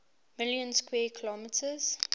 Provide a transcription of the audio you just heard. million square kilometers